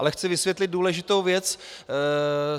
Ale chci vysvětlit důležitou věc.